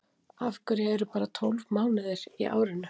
af hverju eru bara tólf mánuðir í árinu